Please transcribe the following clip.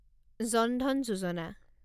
জন Dhan যোজনা